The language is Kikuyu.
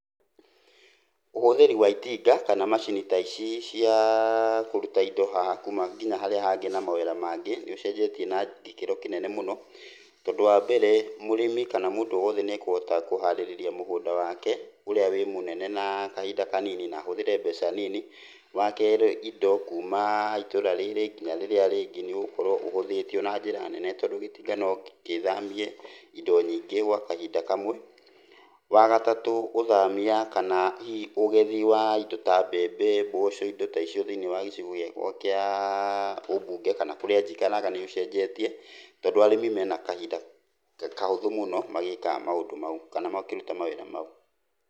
Ũhũthĩri wa itinga kana macini ta ici cia kũruta indo haha kuuma, ngina harĩa hangĩ na mawĩra mangĩ nĩ ũcenjete na gĩkĩro kĩnene mũno, tondũ wambere mũrĩmi kana mũndũ o wothe nĩ akũhota kũharĩrĩria mũgũnda wake, ũrĩa wĩ mũnene na kahinda kanini na ahũthĩre mbeca nini. Wakerĩ indo kuuma itũũra rĩrĩ ngina rĩrĩa rĩngĩ nĩ ũgũkorwo ũhũthĩtio na njĩra nene tondũ gĩtinga no gĩthamie indo nyingi gwa kahinda kamwe. Wagatatũ ũthamia kana hihi ũgethi wa indo ta mbembe, mboco, indo ta icio thĩiniĩ wa gĩcigo gĩakwa kia ũmbunge kana kũrĩa njikaraga nĩ ũcenjetie tondũ arĩmi mena kahinda kahũthũ mũno magĩĩkaga maũndũ mau, kana makĩruta mawĩra mau.